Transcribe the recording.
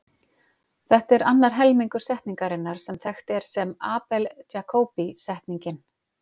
Þetta er annar helmingur setningarinnar sem þekkt er sem Abel-Jacobi setningin.